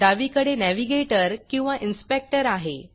डावीकडे navigatorनॅविगेटर किंवा inspectorइनस्पेक्टर आहे